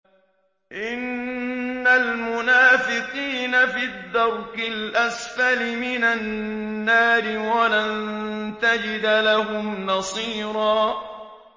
إِنَّ الْمُنَافِقِينَ فِي الدَّرْكِ الْأَسْفَلِ مِنَ النَّارِ وَلَن تَجِدَ لَهُمْ نَصِيرًا